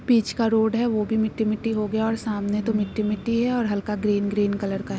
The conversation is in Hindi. पीच का रोड हैं वो भी मिट्टी मिट्टी हों गया और सामने तो मिट्टी मिट्टी हैं और हल्का ग्रीन ग्रीन कलर का है।